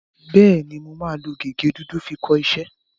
Bẹ́ẹ̀ni, mo máa lo gègé dúdú fi kọ iṣẹ́.